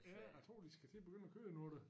Ja jeg tror de skal til at begynde at køre nu da